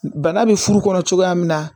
Bana bɛ furu kɔnɔ cogoya min na